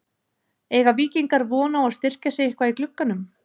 Eiga Víkingar von á að styrkja sig eitthvað í glugganum?